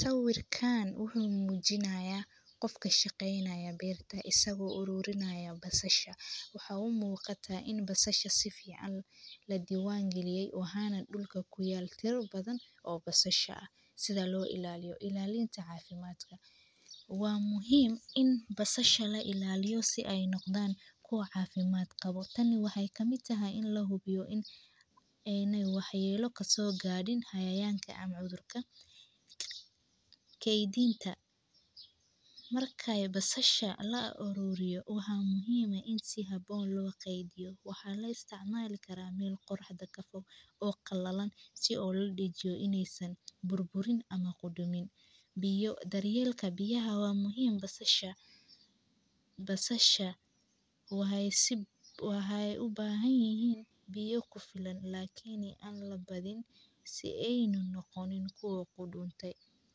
Sawirkan wuxuu mujinayaa qof ka shaqeynayo berta isago arurinaya basasha, waxaa u muqaataa in basashaa si fiican la diwan galiye, waxana dulka ku yala tira badan oo basashaa, sitha lo ilaliyo, ilalinta cafimaadka, waa muhiim in basashaa la ilaliyo si ee u noqdan kuwa cafimaad qawo, waxaa muhiim tahay in wax yala kaso garin sitha cayayanka ama cudurka, keydinta, marka basashaa la aruriyo waxaa muhiim ah In habon lo keydiyo, waxaa la isticmali karaa meel qoraxda kafo oo qalalan si oo ladijiyo in ee san burburin ama qoodomiin, biyo, daryelka beyaha waa muhiim, basashaa, basashaa wexee u bahan yihiin beyo ku filan, lakin aa labadinin si ena noqonin miid qodomin.